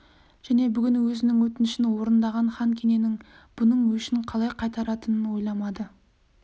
және бүгін өзінің өтінішін орындаған хан кененің бұның өшін қалай қайтаратынын ойламады